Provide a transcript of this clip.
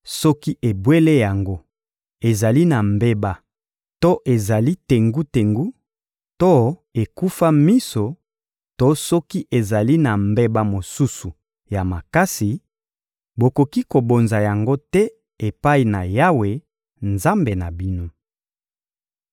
Soki ebwele yango ezali na mbeba to ezali tengu-tengu to ekufa miso to soki ezali na mbeba mosusu ya makasi, bokoki kobonza yango te epai na Yawe, Nzambe na bino.